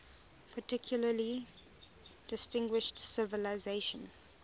particularly distinguished civilization